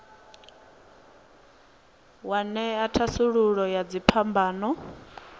wa ṅea thasululo ya dziphambano